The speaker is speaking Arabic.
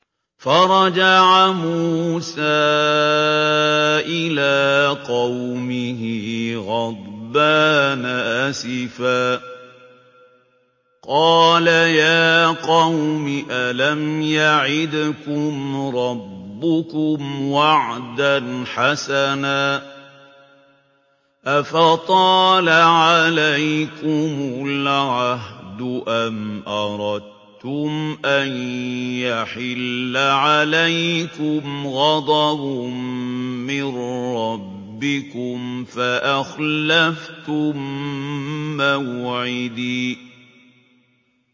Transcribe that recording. فَرَجَعَ مُوسَىٰ إِلَىٰ قَوْمِهِ غَضْبَانَ أَسِفًا ۚ قَالَ يَا قَوْمِ أَلَمْ يَعِدْكُمْ رَبُّكُمْ وَعْدًا حَسَنًا ۚ أَفَطَالَ عَلَيْكُمُ الْعَهْدُ أَمْ أَرَدتُّمْ أَن يَحِلَّ عَلَيْكُمْ غَضَبٌ مِّن رَّبِّكُمْ فَأَخْلَفْتُم مَّوْعِدِي